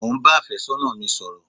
Mo ń ba àfẹ́sọ́nà mi sọ̀rọ̀